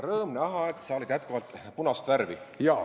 Rõõm näha, et sa oled jätkuvalt punast värvi.